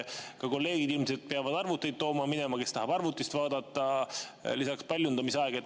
Kolleegid ilmselt peavad arvuteid tooma minema, kes tahavad arvutist vaadata, lisaks paljundamise aeg.